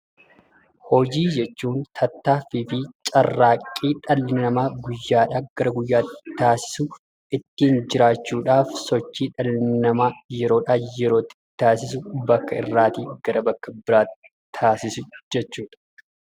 Hojii jechuun tattaaffii fi carraaqqii dhalli namaa guyyaadhaa gara guyyaatti taasisu, ittiin jiraachuudhaaf sochii dhalli namaa yeroodhaa yerootti taasisu, bakka irraatii gara bakka biraatti taasisu jechuu dha.